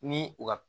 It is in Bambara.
Ni u ka